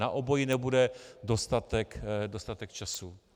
Na obojí nebude dostatek času.